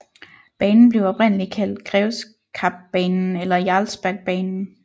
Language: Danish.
Banen blev oprindeligt kaldt Grevskapsbanen eller Jarlsbergbanen